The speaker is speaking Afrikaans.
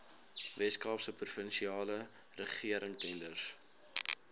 weskaapse provinsiale regeringstenders